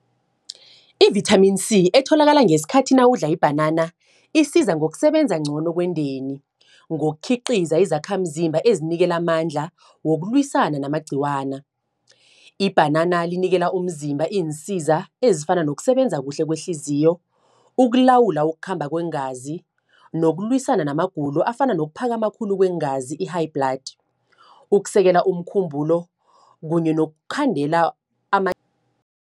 I-vithamini C, etholakala ngesikhathi nawudla ibhanana, isiza ngokusebenza ngcono kwendeni. Ngokhiqiza izakhamzimba ezinikela amandla wokulwisana namagqiwana. Ibhanana linikela umzimba, iinsiza ezifana nokusebenza kuhle kweehliziyo. Ukulawula ukukhamba kweengazi, nokulwisana namagulo afana nokuphakama khulu kweengazi i-high blood. Ukusekela umkhumbulo, kunye nokukhandela